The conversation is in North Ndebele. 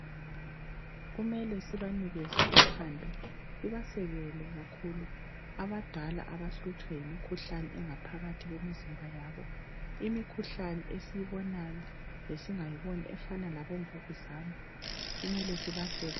Kumele sibanikeze uthando sibasekele kakhulu abadala abahlutshwa yemikhuhlane engaphakathi kwemizimba yabo. Imikhuhlane esiyibonayo lesingayiboniyo efana labomvukuzane. Kumele sibaseke.